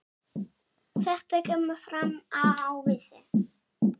Þetta kemur fram á Vísi.